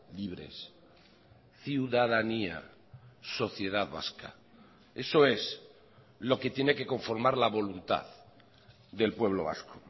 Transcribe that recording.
libres ciudadanía sociedad vasca eso es lo que tiene que conformar la voluntad del pueblo vasco